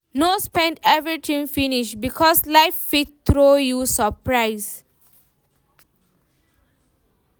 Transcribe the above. No spend everything finish, because life fit throw you surprise.